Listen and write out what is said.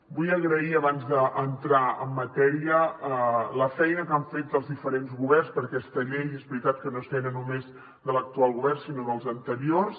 vull agrair abans d’entrar en matèria la feina que han fet els diferents governs perquè aquesta llei és veritat que no és feina només de l’actual govern sinó dels anteriors